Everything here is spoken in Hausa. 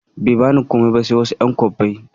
Bai bani komai ba sai wasu ƴan kwabbai